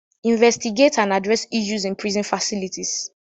Investigate and address issues in prison facilities.